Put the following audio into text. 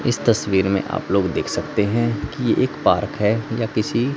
इस तस्वीर में आप लोग देख सकते हैं कि एक पार्क है या किसी--